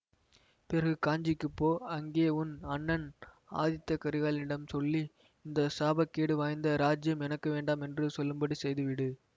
பிறகு காஞ்சிக்குப் போ அங்கே உன் அண்ணன் ஆதித்த கரிகாலனிடம் சொல்லி இந்த சாபக்கேடு வாய்ந்த இராஜ்யம் எனக்கு வேண்டாம் என்று சொல்லும்படி செய்துவிடு